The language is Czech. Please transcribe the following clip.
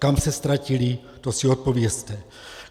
Kam se ztratili, to si odpovězte.